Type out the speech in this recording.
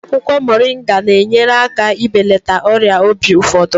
Akwụkwọ Moringa na-enyere aka ibelata ọrịa obi ụfọdụ.